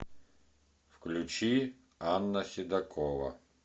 включи анна седокова